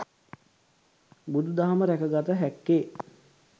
බුදු දහම රැක ගත හැක්කේ